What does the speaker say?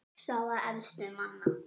Staða efstu manna